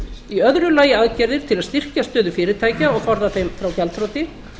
í öðru lagi aðgerðir til að styrkja stöðu fyrirtækja og forða þeim frá gjaldþroti